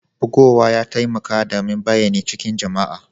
Bugowa ya taimake damin bayyani cikin jama'a.